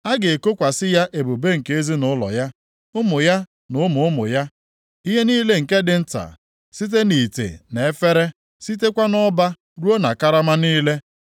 A ga-ekokwasị ya ebube nke ezinaụlọ ya, ụmụ ya na ụmụ ụmụ ya, ihe niile nke dị nta, site na ite na efere, sitekwa nʼọba ruo na karama niile.